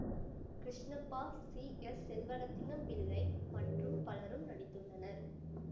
Krishnappa C S Selvaratnam Pillai மற்றும் பலரும் நடித்துள்ளனர்